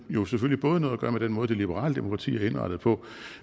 jo selvfølgelig både noget at gøre med den måde det liberale demokrati er indrettet på